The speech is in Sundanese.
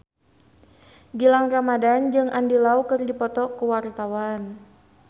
Gilang Ramadan jeung Andy Lau keur dipoto ku wartawan